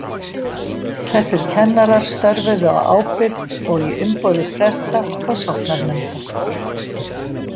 Þessir kennarar störfuðu á ábyrgð og í umboði presta og sóknarnefnda.